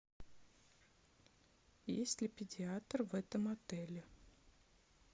есть ли педиатр в этом отеле